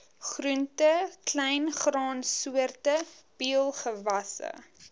groente kleingraansoorte peulgewasse